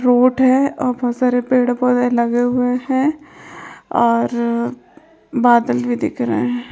--Road है और बहुत सारे पेड पौधे लगे हुए हैं और बादल भी दिख रहे हैं।